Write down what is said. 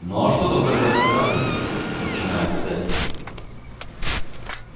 ну а что тогда там показывают начинаю гадать я